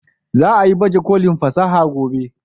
Za a yi baje kolin fasaha gobe